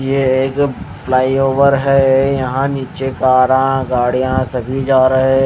यह एक फ्लाईओवर है यहां नीचे कार गाड़ियां सभी जा रहे हैं।